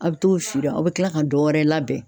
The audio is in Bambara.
A be t'o feere a be kila ka dɔwɛrɛ labɛn